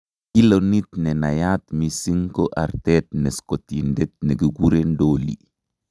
Kilonit nenaiyat mising' koo artet ne scottindet nekikeuren dolly